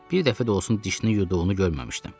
Bir dəfə də olsun dişini yuduğunu görməmişdim.